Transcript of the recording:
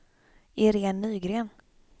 Irene Nygren